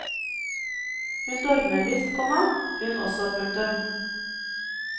Hun dormer visst, komma hun også. punktum